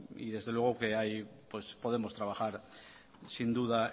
y desde luego que podemos trabajar sin duda